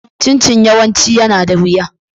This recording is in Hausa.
Chin-Chin yawanci yana da wuya.